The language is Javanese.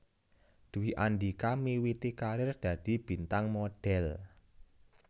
Dwi Andhika miwiti karir dadi bintang modhél